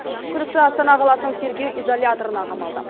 күдікті астана қаласының тергеу изоляторына қамалды